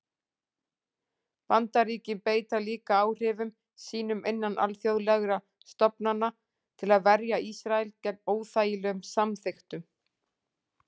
Bandaríkin beita líka áhrifum sínum innan alþjóðlegra stofnana til að verja Ísrael gegn óþægilegum samþykktum.